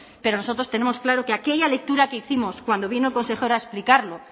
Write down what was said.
pero nosotros tenemos claro que aquella lectura que hicimos cuando vino el consejero a explicarlo